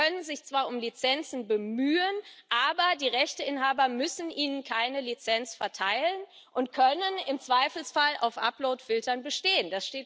Sie können sich zwar um Lizenzen bemühen, aber die Rechteinhaber müssen ihnen keine Lizenz erteilen und können im Zweifelsfall auf Uploadfiltern bestehen.